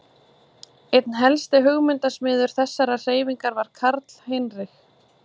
Einn helsti hugmyndasmiður þessarar hreyfingar var Karl Heinrich